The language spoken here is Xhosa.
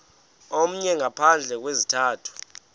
omnye ngaphandle kwesizathu